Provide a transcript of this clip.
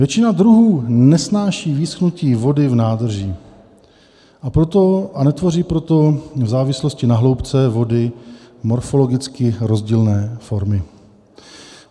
Většina druhů nesnáší vyschnutí vody v nádrži, a netvoří proto v závislosti na hloubce vody morfologicky rozdílné formy.